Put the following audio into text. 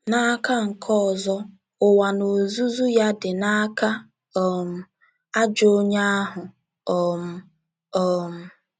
N’aka nke ọzọ, ụwa n’ozuzu ya “ dị n’aka um ajọ onye ahụ um. ” um